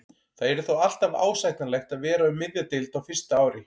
Það yrði þó alltaf ásættanlegt að vera um miðja deild á fyrsta ári.